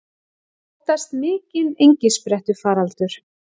Óttast mikinn engisprettufaraldur